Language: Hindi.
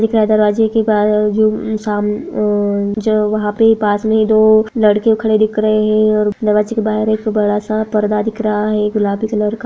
दिख रहा है दरवाजे के बाहर जो साम अ जो वहाँ पे पास में दो लड़के खड़े दिख रहे है और दरवाजे के बाहर एक बड़ा सा पर्दा दिख रहा है। गुलाबी कलर का।